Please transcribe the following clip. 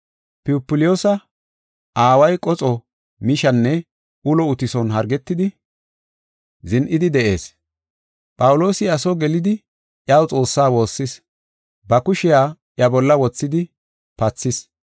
Pupliyoosa aaway qoxo, mishanne ulo uttison hargetidi zin7idi de7ees. Phawuloosi iya soo gelidi iyaw Xoossaa woossis; ba kushiya iya bolla wothidi pathis.